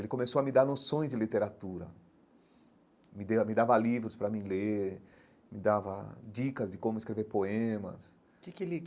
Ele começou a me dar noções de literatura, me me dava livros para mim ler, me dava dicas de como escrever poemas que que ele.